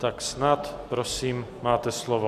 Tak snad, prosím, máte slovo.